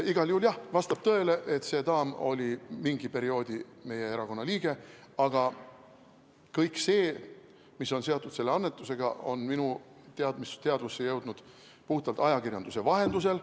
Igal juhul vastab tõele, et see daam oli mingi perioodi meie erakonna liige, aga kõik see, mis on seotud selle annetusega, on minu teadvusse jõudnud puhtalt ajakirjanduse vahendusel.